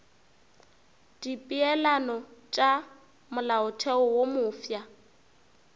dipeelano tša molaotheo wo mofsa